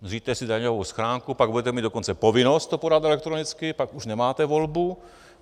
Zřiďte si daňovou schránku, pak budete mít dokonce povinnost to podat elektronicky, pak už nemáte volbu.